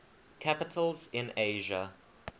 capitals in asia